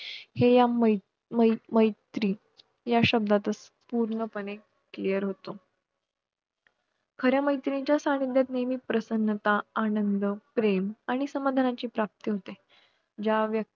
पालखी म्हणजे प्रत्यक्ष देवच आपल्या घरी येत असतो. याचा आनंद काही वेगळाच असतो. पालखी घरी आल्यावर घरातल्या सुवासिनी, माहेरवाशिणी खणा-नारळाने ओटी भरतात. तिच्यापुढे नवस बोलतात.